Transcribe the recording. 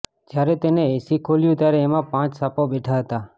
જયારે તેને એસી ખોલ્યું ત્યારે તેમાં પાંચ સાપો બેઠા હતા